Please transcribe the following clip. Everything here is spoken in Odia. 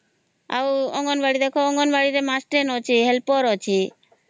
ଆଉ ଅଙ୍ଗନବାଡି ରେ ଦେଖା ମାଷ୍ଟ୍ରେ ଅଚ୍ଛେ ହେଲପର ଅଛେ